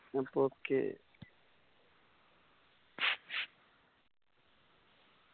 അപ്പൊ okay